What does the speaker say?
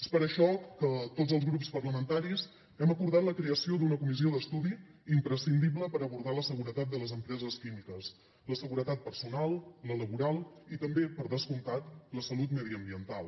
és per això que tots els grups parlamentaris hem acordat la creació d’una comissió d’estudi imprescindible per abordar la seguretat de les empreses químiques la seguretat personal la laboral i també per descomptat la salut mediambiental